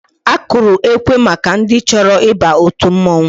Akụrụ ekwe maka ndị chọrọ ịba òtù mmọnwụ.